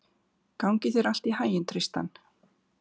Gangi þér allt í haginn, Tristan.